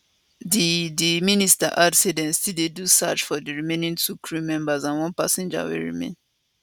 di di minister add say dem still dey do search for di remaining two crew members and one passenger wey remain